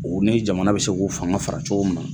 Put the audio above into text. O ni jamana bɛ se k'u fanga fara cogo min na.